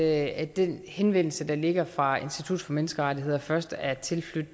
at den henvendelse der ligger fra institut for menneskerettigheder først er tilflydt